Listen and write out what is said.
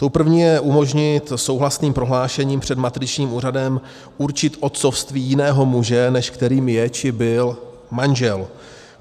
Tou první je umožnit souhlasným prohlášením před matričním úřadem určit otcovství jiného muže, než kterým je či byl manžel.